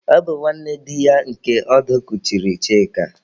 Ọ bụ nwanne di ya nke ọdụ kuchiri Chika.